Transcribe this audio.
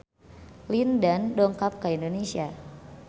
Lin Dan dongkap ka Indonesia